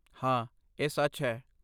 ਹਾਂ, ਇਹ ਸੱਚ ਹੈ।